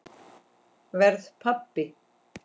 Verð pabbi.